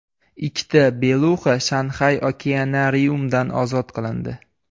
Ikkita beluxa Shanxay okeanariumdan ozod qilindi.